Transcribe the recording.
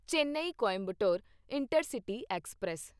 Chennai Coimbatore intercity express